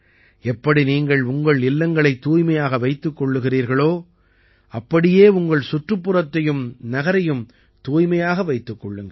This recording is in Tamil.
எப்படி நீங்கள் உங்கள் இல்லங்களைத் தூய்மையாக வைத்துக் கொள்கிறீர்களோ அப்படியே உங்கள் சுற்றுப்புறத்தையும் நகரையும் தூய்மையாக வைத்துக் கொள்ளுங்கள்